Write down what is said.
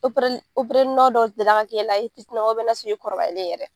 Opereli opereli nɔ dɔ deli la ka k'e la i fitina ma n'a sɔrɔ i kɔrɔbalen yɛrɛ.